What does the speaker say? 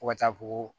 Fo ka taa fɔ ko